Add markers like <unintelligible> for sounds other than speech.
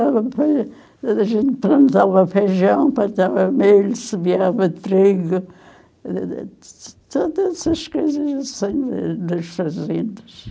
<unintelligible> A gente plantava feijão, plantava milho, semeava trigo, <unintelligible> todas essas coisas assim nas fazendas.